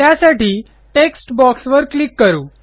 त्यासाठी text box वर click करू